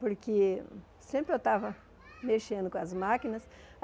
Porque sempre eu estava mexendo com as máquinas.